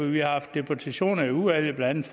vi har haft deputationer i udvalget blandt